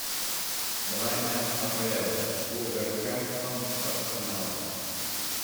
давай матч апл вулверхэмптон с арсеналом